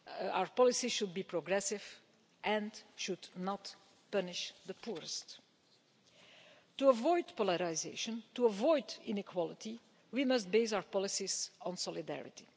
Our policy should be progressive and should not punish the poorest. To avoid polarisation, to avoid inequality, we must base our policies on solidarity.